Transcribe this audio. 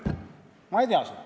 Ma ei tea seda.